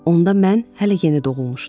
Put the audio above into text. Onda mən hələ yeni doğulmuşdum.